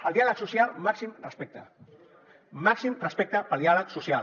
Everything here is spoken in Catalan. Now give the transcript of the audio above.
al diàleg social màxim respecte màxim respecte pel diàleg social